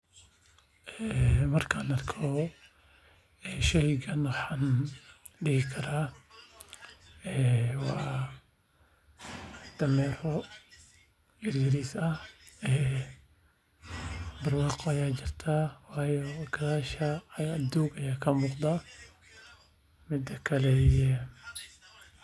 Markaan arko sheeygan waxaan dihi karaa waa dameero yariis ah barwaaqo ayaa jirtaa waxaa yeele gadaasha doog ayaa ka muuqda.